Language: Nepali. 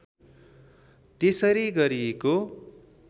त्यसरी गरिएको